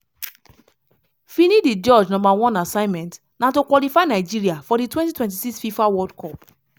finidi george number one assignment na to qualify nigeria for di 2026 fifa world cup.